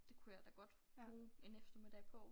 Det kunne jeg da godt bruge en eftermiddag på